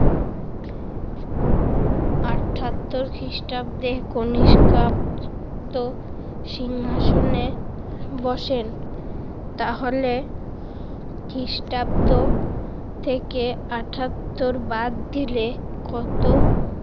আটাত্তর খ্রিষ্টাব্দে কনিষ্কাব সিংহাসনে বসেন। তাহলে খ্রিষ্টাব্দ থেকে আটাত্তর বাদ দিলে কত